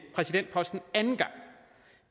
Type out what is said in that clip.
præsidentposten anden gang